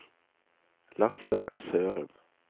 Lasse Sørum